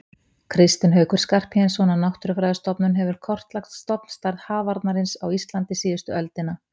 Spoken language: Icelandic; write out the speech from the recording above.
Kristinn Haukur Skarphéðinsson á Náttúrufræðistofnun hefur kortlagt stofnstærð hafarnarins á Íslandi síðustu öldina.